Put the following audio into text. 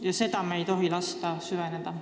Ja sellel me ei tohi lasta süveneda.